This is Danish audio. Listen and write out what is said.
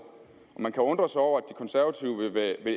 man kan undre sig over